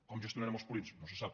com gestionarem els purins no se sap